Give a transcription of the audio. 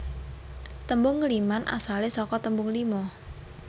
Tembung ngliman asale saka tembung lima